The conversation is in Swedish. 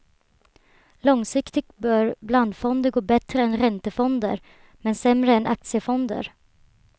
Långsiktigt bör blandfonder gå bättre än räntefonder, men sämre än aktiefonder.